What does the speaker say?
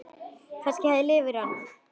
Kannski hafði liðið yfir hana.